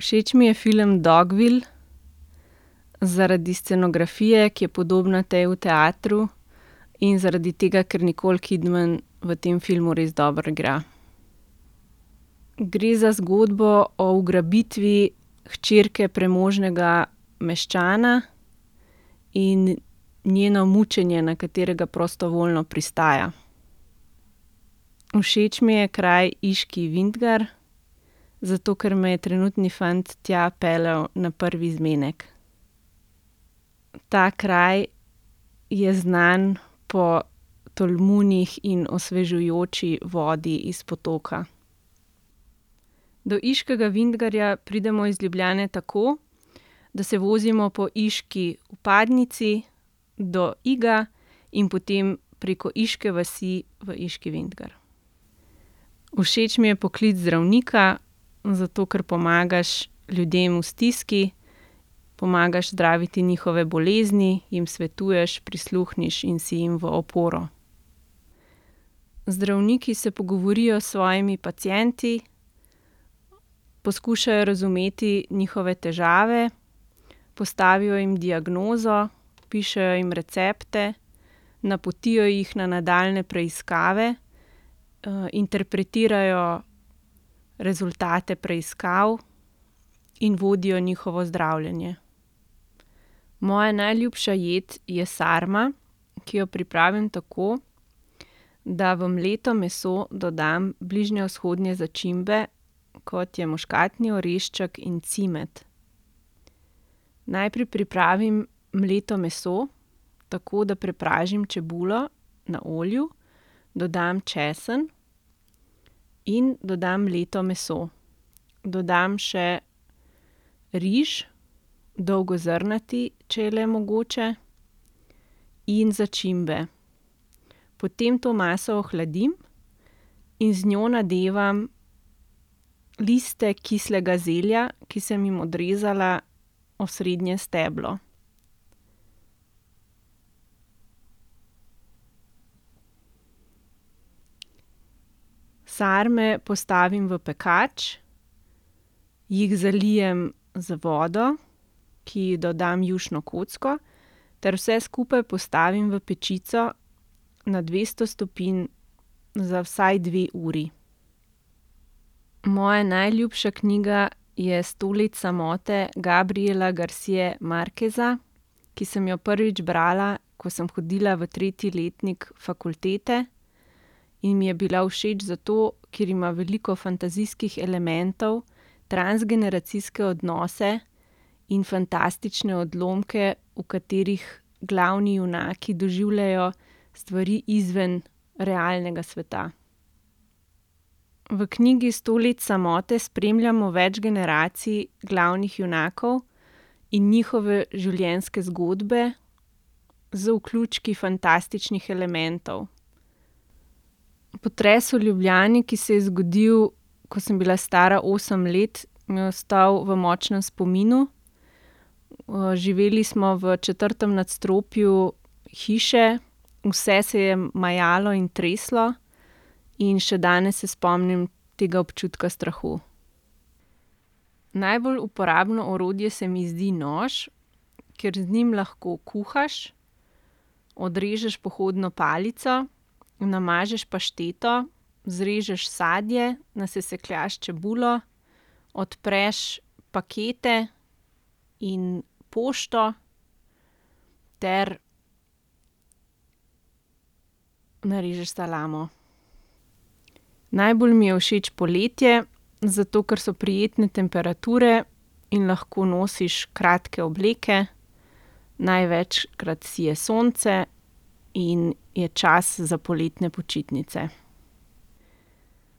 Všeč mi je film Dogville zaradi scenografije, ki je podobna tej v teatru, in zaradi tega, ker Nicole Kidman v tem filmu res dobro igra. Gre za zgodbo o ugrabitvi hčerke premožnega meščana in njeno mučenje, na katerega prostovoljno pristaja. Všeč mi je kraj Iški vintgar, zato ker me je trenutni fant tja peljal na prvi zmenek. Ta kraj je znan po tolmunih in osvežujoči vodi iz potoka. Do Iškega vintgarja pridemo iz Ljubljane tako, da se vozimo po iški vpadnici do Iga in potem preko Iške vsi v Iški vintgar. Všeč mi je poklic zdravnika, zato ker pomagaš ljudem v stiski. Pomagaš zdraviti njihove bolezni, jim svetuješ, prisluhneš in si jim v oporo. Zdravniki se pogovorijo s svojimi pacienti, poskušajo razumeti njihove težave, postavijo jim diagnozo, pišejo jim recepte, napotijo jih na nadaljnje preiskave, interpretirajo rezultate preiskav in vodijo njihovo zdravljenje. Moja najljubša jed je sarma, ki jo pripravim tako, da v mleto meso dodam bližnjevzhodne začimbe, kot je muškatni orešček in cimet. Najprej pripravim mleto meso tako, da prepražim čebulo na olju, dodam česen in dodam mleto meso. Dodam še riž, dolgozrnati, če je le mogoče, in začimbe. Potem to maso ohladim in z njo nadevam liste kislega zelja, ki sem jim odrezala osrednje steblo. Sarme postavim v pekač, jih zalijem z vodo, ki ji dodam jušno kocko, ter vse skupaj postavim v pečico na dvesto stopinj za vsaj dve uri. Moja najljubša knjiga je Sto let samote Gabriela Garcie Marqueza, ki sem jo prvič brala, ko sem hodila v tretji letnik fakultete, in mi je bila všeč zato, ker ima veliko fantazijskih elementov, transgeneracijske odnose in fantastične odlomke, v katerih glavni junaki doživljajo stvari izven realnega sveta. V knjigi Sto let samote spremljamo več generacij glavnih junakov in njihove življenjske zgodbe z vključki fantastičnih elementov. Potres v Ljubljani, ki se je zgodil, ko sem bila stara osem let, mi je ostal v močnem spominu. živeli smo v četrtem nadstropju hiše, vse se je majalo in treslo. In še danes se spomnim tega občutka strahu. Najbolj uporabno orodje se mi zdi nož, ker z njim lahko kuhaš, odrežeš pohodno palico, namažeš pašteto, zrežeš sadje, nasesekljaš čebulo, odpreš pakete in pošto ter narežeš salamo. Najbolj mi je všeč poletje, zato ker so prijetne temperature in lahko nosiš kratke obleke. Največkrat sije sonce in je čas za poletne počitnice.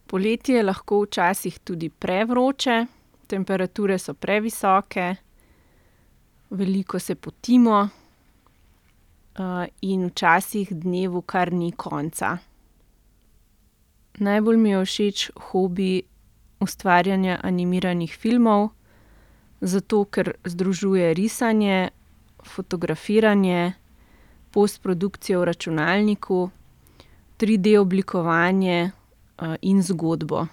Poletje je lahko včasih tudi prevroče, temperature so previsoke, veliko se potimo, in včasih dnevu kar ni konca. Najbolj mi je všeč hobi ustvarjanja animiranih filmov, zato ker združuje risanje, fotografiranje, postprodukcijo v računalniku, triD-oblikovanje, in zgodbo.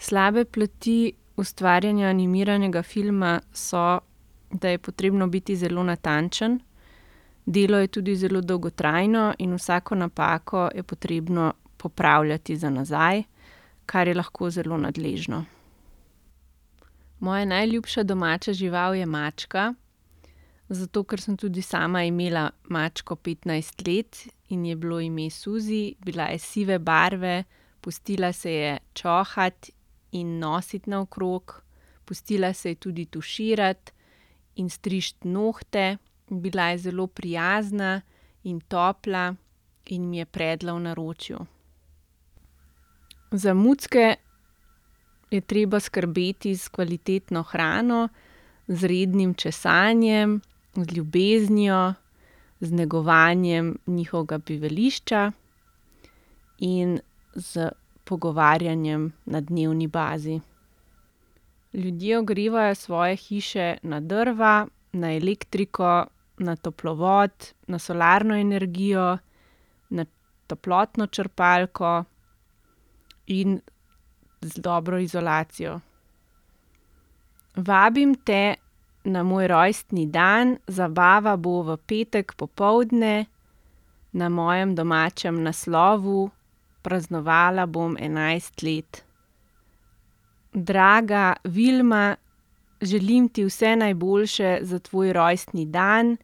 Slabe plati ustvarjanja animiranega filma so, da je potrebno biti zelo natančen, delo je tudi zelo dolgotrajno in vsako napako je potrebno popravljati za nazaj, kar je lahko zelo nadležno. Moja najljubša domača žival je mačka, zato ker sem tudi sama imela mačko petnajst let in ji je bilo ime Suzi. Bila je sive barve, pustila se je čohati in nositi naokrog, pustila se je tudi tuširati in striči nohte. Bila je zelo prijazna in topla in mi je predla v naročju. Za mucke je treba skrbeti s kvalitetno hrano, z rednim česanjem, z ljubeznijo, z negovanjem njihovega bivališča in s pogovarjanjem na dnevni bazi. Ljudje ogrevajo svoje hiše na drva, na elektriko, na toplovod, na solarno energijo, na toplotno črpalko in z dobro izolacijo. Vabim te na moj rojstni dan. Zabava bo v petek popoldne na mojem domačem naslovu. Praznovala bom enajst let. Draga Vilma. Želim ti vse najboljše za tvoj rojstni dan.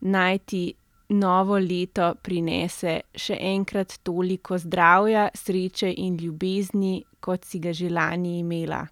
Naj ti novo leto prinese še enkrat toliko zdravja, sreče in ljubezni, kot si ga že lani imela.